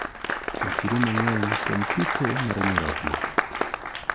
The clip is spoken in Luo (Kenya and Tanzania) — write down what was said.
Puonjri mang'eny kuom pitho mar nyarogno.